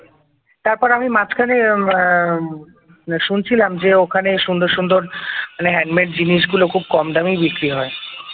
তারপরে আমি মাঝখানে শুনছিলাম যে ওখানে সুন্দর সুন্দর মানে হ্যান্ডমেড জিনিস গুলো খুব কম দামেই বিক্রি হয়